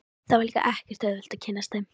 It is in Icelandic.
Það var líka ekkert auðvelt að kynnast þeim.